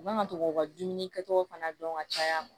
U man ka to k'u ka dumuni kɛcogo fana dɔn ka caya